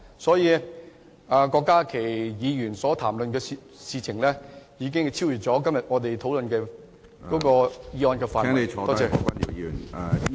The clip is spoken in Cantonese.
所以，郭家麒議員所談論的事已超越了本會今天討論的議案的範圍。